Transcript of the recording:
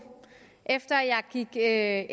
efter at